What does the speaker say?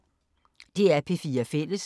DR P4 Fælles